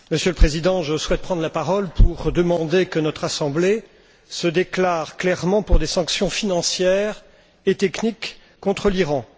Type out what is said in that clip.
Monsieur le Président, je souhaite prendre la parole pour demander que notre Assemblée se déclare clairement pour des sanctions financières et techniques contre l'Iran.